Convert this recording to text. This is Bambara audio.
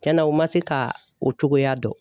Tiɲɛna u ma se ka o cogoya dɔn.